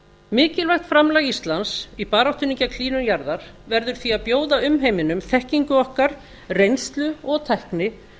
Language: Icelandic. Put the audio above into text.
mikilvægt framlag íslands í baráttunni gegn hlýnun jarðar verður því að bjóða umheiminum þekkingu okkar reynslu og tækni